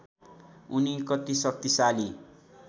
उनी कति शक्तिशाली